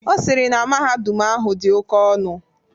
Ọ sịrị na mahadum ahụ dị oke ọnụ.